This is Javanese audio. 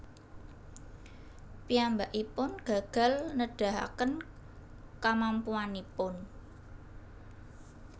Piyambakipun gagal nedahaken kamampuanipun